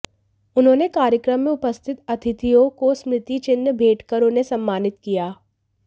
उन्होंने कार्यक्रम में उपस्थित अतिथियों को स्मृति चिन्ह भेंट कर उन्हें सम्मानित किया